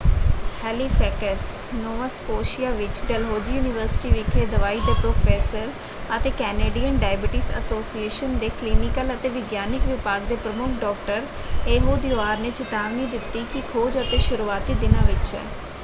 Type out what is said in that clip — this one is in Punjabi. ਹੈਲੀਫ਼ੈਕਸ ਨੋਵਾ ਸਕੋਸ਼ੀਆ ਵਿੱਚ ਡਲਹੌਜ਼ੀ ਯੂਨੀਵਰਸਿਟੀ ਵਿਖੇ ਦਵਾਈ ਦੇ ਪ੍ਰੋਫੈਸਰ ਅਤੇ ਕੈਨੇਡੀਅਨ ਡਾਇਬਟੀਜ਼ ਐਸੋਸੀਏਸ਼ਨ ਦੇ ਕਲੀਨਿਕਲ ਅਤੇ ਵਿਗਿਆਨਕ ਵਿਭਾਗ ਦੇ ਪ੍ਰਮੁੱਖ ਡਾ: ਏਹੂਦ ਯੂਆਰ ਨੇ ਚਿਤਾਵਨੀ ਦਿੱਤੀ ਕਿ ਖੋਜ ਅਜੇ ਸ਼ੁਰੂਆਤੀ ਦਿਨਾਂ ਵਿੱਚ ਹੈ।